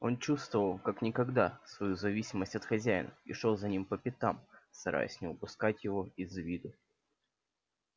он чувствовал как никогда свою зависимость от хозяина и шёл за ним по пятам стараясь не упускать его из виду